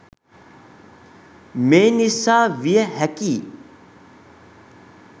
මේ නිසා විය හැකියි.